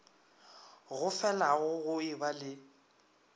go felago go eba le